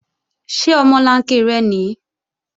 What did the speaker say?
Ṣé omolanke rẹ nìí?